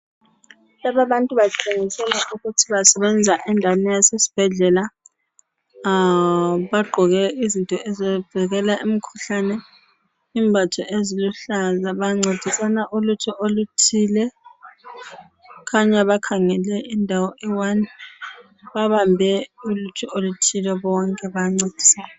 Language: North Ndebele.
Laba abantu batshengisela ukuthi basebenza endaweni yasesibhedlela. Bagqoke izinto ezivikela imikhuhlane .Imbatho eziluhlaza .Bancedisana ulutho oluthile . Kukhanya bakhangele indawo eyi one. Babambe ukuthi oluthile bonke bayancedisana.